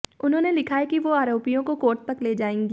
उन्होंने लिखा है कि वो आरोपियों को कोर्ट तक ले जाएंगी